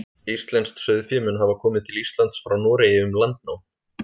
Íslenskt sauðfé mun hafa komið til Íslands frá Noregi um landnám.